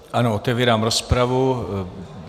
Ano, otevírám rozpravu.